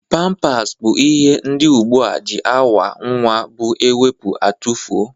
Pampas bụ ihe ndị ugbu a ji awa nwa bụ ewepu atufoo